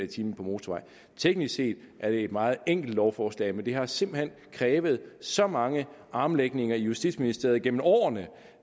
time på motorvej teknisk set er det et meget enkelt lovforslag men det har simpelt hen krævet så mange armlægninger i justitsministeriet gennem årene